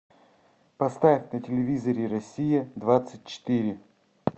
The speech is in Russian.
поставь на телевизоре россия двадцать четыре